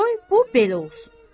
Qoy bu belə olsun.